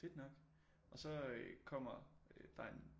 Fedt nok og så kommer der en